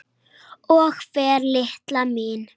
Og fær, litla mín.